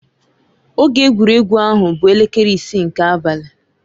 Oge egwuregwu ahụ bụ elekere isii nke abalị.